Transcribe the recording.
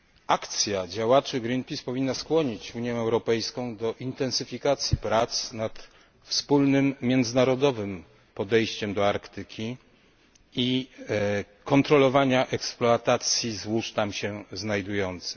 Akcja działaczy Greenpeace powinna skłonić Unię Europejską do intensyfikacji prac nad wspólnym międzynarodowym podejściem do Arktyki i kontrolowania eksploatacji złóż tam się znajdujących.